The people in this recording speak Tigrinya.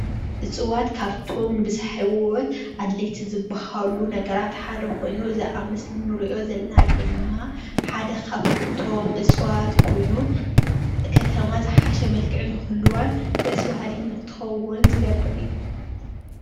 እፅዋት ካብቶም ንሂወት ኣድለይቲ ዝባሃሉ ነገራት ሓደ ኮይኑ እዚ ኣብ ምስሊ እንሪኦ ዘለና ድማ ሓደ ካብቶም እፅዋት ሓደ ኮይኑ ከተማ ዝሓሸ መልክዕ ንክህልዋን ደስ በሃሊት ንክትከውንን ዝገብር እዩ፡፡